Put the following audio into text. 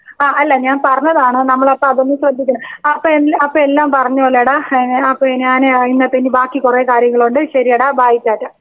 Speaker 2 ആ അല്ല ഞാൻ പറഞ്ഞതാണ് നമ്മൾ അപ്പോ അതൊന്ന് ശ്രെദ്ധിക്കണം. അപ്പോ എല്ലാ എല്ലാം പറഞ്ഞ പോലെയടാ. ഏ ഞാന് അപ്പോ ഞാൻ ഇന്നത്തെ ഇനി ബാക്കി കൊറേ കാര്യങ്ങളുണ്ട് ശരിയെടാ ബൈ റ്റാ റ്റാ.